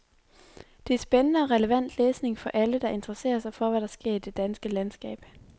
Det er spændende og relevant læsning for alle, der interesserer sig for, hvad der sker i det danske landskab.